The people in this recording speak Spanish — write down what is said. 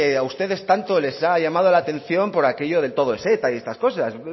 a ustedes tanto les ha llamado la atención por aquello del todo es eta y todas estas cosas